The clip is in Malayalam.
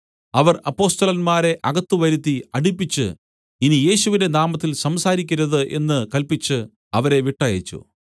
അവർ അപ്പൊസ്തലന്മാരെ അകത്ത് വരുത്തി അടിപ്പിച്ച് ഇനി യേശുവിന്റെ നാമത്തിൽ സംസാരിക്കരുത് എന്ന് കല്പിച്ച് അവരെ വിട്ടയച്ചു